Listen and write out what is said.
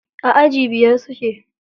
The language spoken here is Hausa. A aji biyar suke.